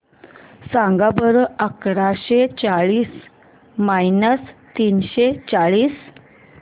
सांगा बरं अकराशे चाळीस मायनस तीनशे चाळीस